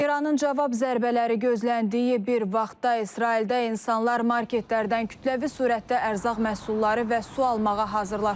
İranın cavab zərbələri gözləndiyi bir vaxtda İsraildə insanlar marketlərdən kütləvi surətdə ərzaq məhsulları və su almağa hazırlaşırlar.